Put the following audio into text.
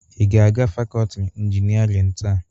Ị ga-aga fakọọti injinịarịn taa?